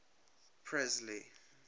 presley